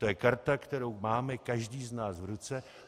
To je karta, kterou máme každý z nás v ruce.